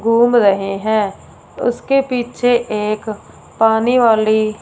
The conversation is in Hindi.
घूम रहे हैं उसके पीछे एक पानी वाली--